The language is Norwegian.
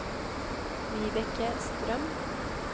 Vibeke Strøm